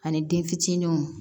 Ani den fitininw